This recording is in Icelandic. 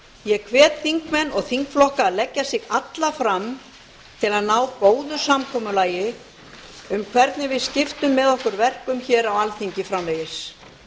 ég hvet þingmenn og þingflokka að leggja sig alla fram til að ná góðu samkomulagi um hvernig við skipum með okkur verkum hér á alþingi framvegis